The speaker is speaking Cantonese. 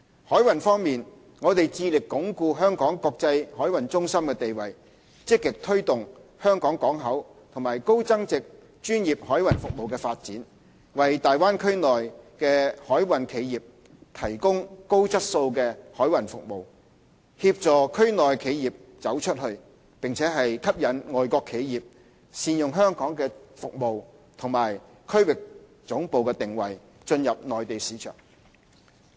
海運方面，我們致力鞏固香港國際海運中心的地位，積極推動香港港口和高增值專業海運服務發展，為大灣區內的海運企業提供高質素的海運服務，協助區內企業"走出去"，並吸引外國企業善用香港的服務及區域總部定位進入內地市場。